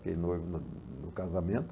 Fiquei noivo no no casamento.